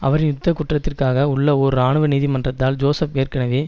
அவரின் யுத்த குற்றத்திற்காக உள்ள ஓர் இராணுவ நீதிமன்றத்தால் ஜோசப் ஏற்கனவே